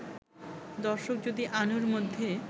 দর্শক যদি আনুর মধ্যে